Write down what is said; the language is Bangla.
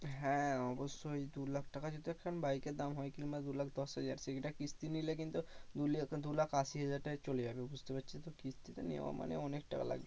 হ্যাঁ অবশ্যই দু লাখ টাকা যদি একখান bike এর দাম কিংবা দু লাখ দশ হাজার সেইটা কিস্তি নিলে কিন্তু দু লাখ আশি হাজার টাকায় চলে যাবে বুঝতে পারছিস তো কিস্তিতে নেওয়া মানে অনেক টাকা লাগবে।